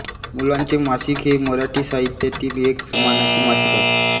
मुलांचे मासिक हे मराठी साहित्यातील एक मानाचे मासिक आहे